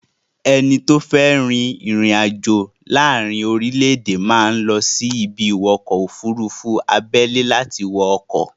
Ẹni tó fé ri ìrìn àjò láàárí orílẹ̀-èdè máa ń lọ sí ibi-ìwọkọ̀-òfurufú abẹ́lẹ́ láti wọ ọkọ̀.